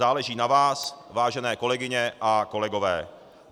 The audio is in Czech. Záleží na vás, vážené kolegyně a kolegové.